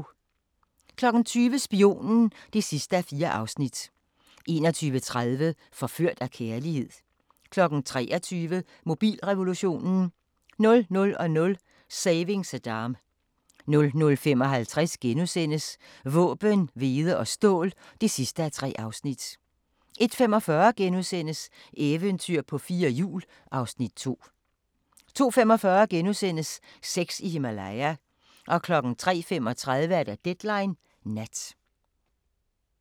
20:00: Spionen (4:4) 21:30: Forført af kærlighed 23:00: Mobilrevolutionen 00:00: Saving Saddam 00:55: Våben, hvede og stål (3:3)* 01:45: Eventyr på fire hjul (Afs. 2)* 02:45: Sex i Himalaya * 03:35: Deadline Nat